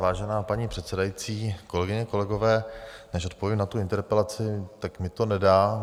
Vážená paní předsedající, kolegyně, kolegové, než odpovím na tu interpelaci, tak mi to nedá.